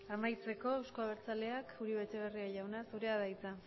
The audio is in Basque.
amaitzeko euzko abertzaleak uribe etxebarria jauna zurea da hitza